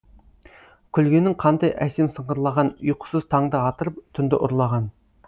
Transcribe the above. күлгенің қандай әсем сыңғырлаған ұйқысыз таңды атырып түнді ұрлаған